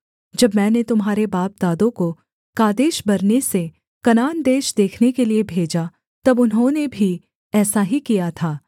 जब मैंने तुम्हारे बापदादों को कादेशबर्ने से कनान देश देखने के लिये भेजा तब उन्होंने भी ऐसा ही किया था